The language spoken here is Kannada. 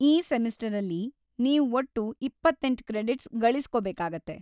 ಈ ಸೆಮಿಸ್ಟರಲ್ಲಿ ನೀವ್‌ ಒಟ್ಟು ಇಪ್ಪತ್ತೆಂಟ್‌ ಕ್ರೆಡಿಟ್ಸ್‌ ಗಳಿಸ್ಕೊಳ್ಬೇಕಾಗತ್ತೆ.